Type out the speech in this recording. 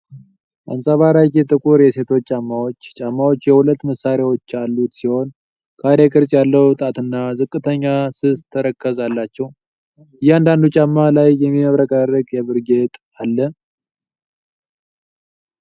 አንፀባራቂ ጥቁር የሴቶች ጫማዎች። ጫማዎቹ የሁለት ማሰሪያዎች ያሉት ሲሆን፣ ካሬ ቅርጽ ያለው ጣትና ዝቅተኛ ስስ ተረከዝ አላቸው። እያንዳንዱ ጫማ ላይ የሚያብረቀርቅ የብር ጌጥ አለው።